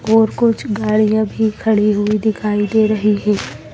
और कुछ गाड़ियां भी खड़ी हुई दिखाई दे रही हैं।